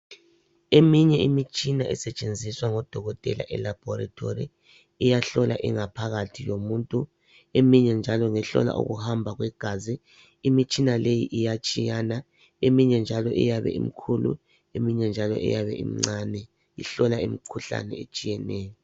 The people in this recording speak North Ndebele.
Eminye imitshina esetshenziswa ngodokotela elabhorethori iyahlola ingaphakathi yomuntu eminye njalo ngehlola ukuhamba kwegazi . Imitshina le iyatshiyana. Eminye njalo iyabe imkhulu eminye njalo iyabe imncane ihlola imikhuhlane etshiyeneyo.